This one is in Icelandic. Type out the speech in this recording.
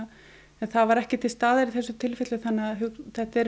en það var ekki til staðar í þessu tilfelli þannig að þetta eru